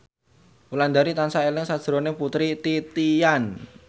Wulandari tansah eling sakjroning Putri Titian